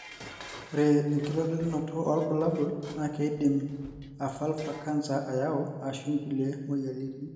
ore enkitodolunoto olbulabul na kindim a vulva canser ayau ashu inkulie moyiaritin.